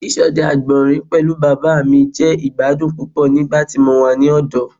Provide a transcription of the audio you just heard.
Ṣiṣọdẹ agbọnrin pẹlu baba mi jẹ igbadun pupọ nigbati mo wa ni ọdọ